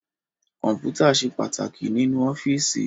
Kọ́mpútà ṣe pàtàkì nínú ọ́fíìsì